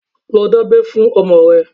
Lọ dábẹ́ fún ọmọ rẹ!